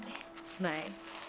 nei